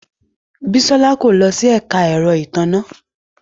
Bisola ko lo si ẹka ẹrọ itanna